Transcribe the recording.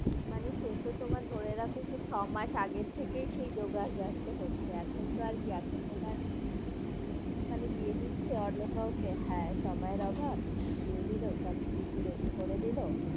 মানে সেতো তোমার ধরে রাখো সেই ছমাস আগের থেকেই সেই জোগাড় জানতো হচ্ছে। এখন তো আর কি? এখন তোমার মানে বিয়ে দিচ্ছে অন্য কাউকে হ্যাঁ, সময়ের অভাব দিয়ে দিলো সবকিছু ready করে দিলো,